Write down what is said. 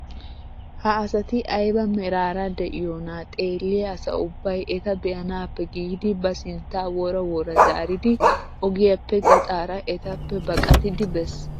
ha asati ayba meraara de'iyoona xeelliyaa asa ubbay eta be'anaappe giidi ba sintta wora wora zaaridi ogiyaappe gaxaara etappe baqattidi bes!